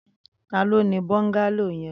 Tàló ni bọngàló yèn